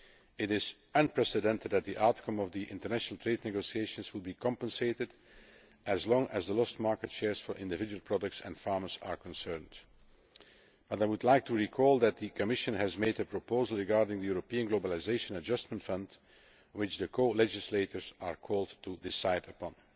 It is unprecedented for the outcome of the international trade negotiations to be compensated as far as the lost market shares for individual products and farmers are concerned, but I would like to recall that the Commission has made a proposal regarding the European Globalisation Adjustment Fund, which the co legislators are called to decide